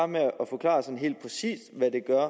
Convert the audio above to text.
med at forklare sådan helt præcis hvad det er